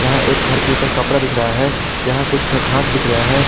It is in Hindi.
यहां एक घर के ऊपर कपड़ा दिख रहा है यहां कुछ घास दिख रहे हैं।